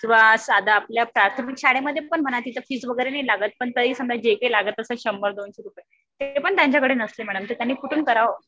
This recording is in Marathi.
किंवा साधं आपल्या प्राथमिक शाळेमध्ये पण म्हणा तिच्यात फीस वगैरे नाही लागत. पण जरी समजा जे काही लागत असेल शंभर दोनशे रुपये ते पण त्यांच्याकडे नसते मॅडम. तर त्यांनी कुठून करावं.